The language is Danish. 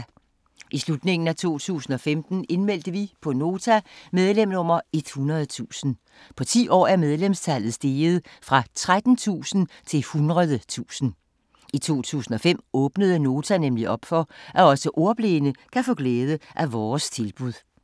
I slutningen af 2015 indmeldte vi på Nota medlem nummer 100.000. På 10 år er medlemsantallet steget fra 13.000 til 100.000. I 2005 åbnede Nota nemlig op for, at også ordblinde kan få glæde af vores tilbud.